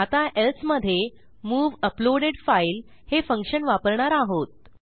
आता एल्से मधे move uploaded file हे फंक्शन वापरणार आहोत